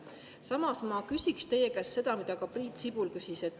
Samas, ma küsiksin teie käest seda, mida ka Priit Sibul küsis.